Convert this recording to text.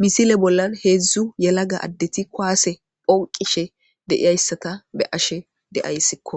misile bollan heedzdzu yelaga addeti kuwaase phonqishe deiyayssata be ashe deayssikko